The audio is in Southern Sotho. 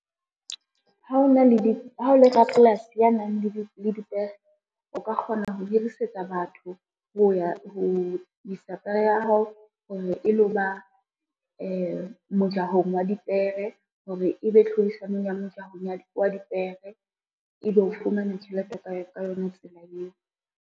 Ha o le rapolasi ya nang le dipere, o ka kgona ho hirisetsa batho ho isa pere ya hao, hore e lo ba mojahong wa dipere hore ebe tlhodisanong ya mejahong wa dipere. Ebe o fumana tjhelete ka yona tsela eo.